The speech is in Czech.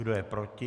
Kdo je proti?